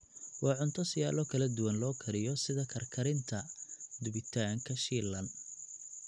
Waa cunto siyaalo kala duwan loo kariyo sida karkarinta, dubitaanka, shiilan.